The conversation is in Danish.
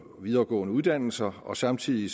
og videregående uddannelser og samtidig